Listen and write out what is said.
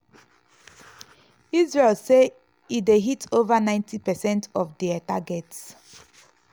israel say e dey hit ova 90 percent of dia targets.